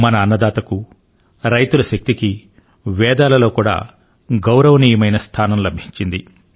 మన అన్నదాతకు రైతుల శక్తికి వేదాలలో కూడా గౌరవనీయమైన స్థానం లభించింది